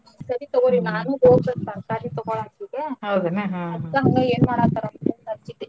ಸರಿ ತಗೋರಿ ನಾನೂ ಹೋಗ್ಬೆಕ್ ತರ್ಕಾರಿ ತಗೋಳಾಕ್ ಈಗೆ ಅದ್ಕ ಹಂಗ ಏನ್ ಮಾಡಾಹತ್ತಾರಂತಂದ್ ಹಚ್ಚಿದ್ದೆ.